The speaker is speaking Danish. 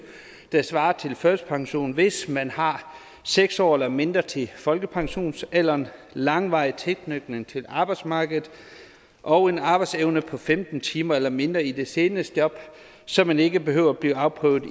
der svarer til førtidspension hvis man har seks år eller mindre til folkepensionsalderen langvarig tilknytning til arbejdsmarkedet og en arbejdsevne på femten timer eller mindre i det seneste job så man ikke behøver at blive afprøvet